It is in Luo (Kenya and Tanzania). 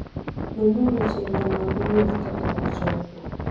Nonuru chenro mag wuoth kapok uchopo.